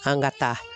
An ka taa